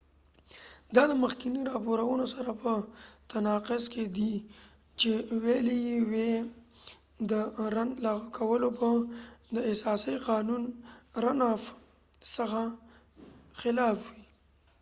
دا د مخکېنی راپورونو سره په تناقض کې دي چې ويلی یې وي د رن افrunoff لغو کول به د اساسی قانون څخه خلاف وي